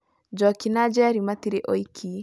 Njoki na Njeri matire oiki.